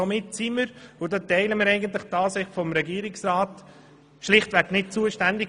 Somit sind wir – und diesbezüglich teilen wir eigentlich die Ansicht des Regierungsrats – schlicht nicht zuständig.